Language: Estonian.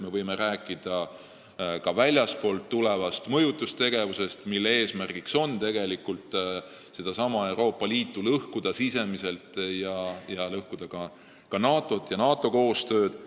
Me võime rääkida ka väljastpoolt tulevast mõjutustegevusest, mille eesmärk on tegelikult Euroopa Liitu sisemiselt lõhkuda, samuti lõhkuda NATO-alast koostööd.